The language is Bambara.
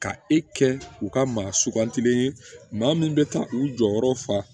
Ka e kɛ u ka maa sugantilen ye maa minnu bɛ taa u jɔyɔrɔ fa